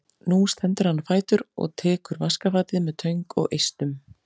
Nú stendur hann á fætur og tekur vaskafatið með töng og eistum.